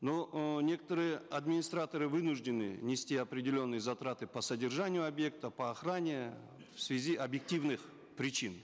но э некоторые администраторы вынуждены нести определенные затраты по содержанию объектов по охране в связи объективных причин